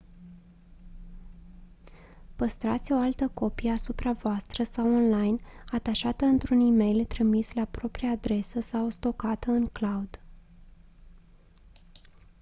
păstrați o altă copie asupra voastră sau online atașată într-un e-mail trimis la propria adresă sau stocată în «cloud».